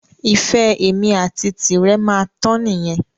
Ìfẹ́ èmi àti tirẹ̀ máa tán nìyẹn